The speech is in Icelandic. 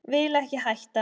Vil ekki hætta.